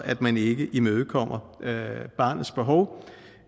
at man ikke imødekommer barnets behov